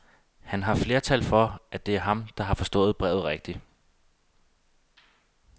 Han har flertal for, at det er ham, der har forstået brevet rigtigt.